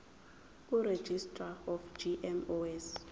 kuregistrar of gmos